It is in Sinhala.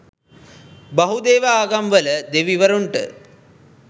බහුදේව ආගම්වල දෙවිවරුන්ට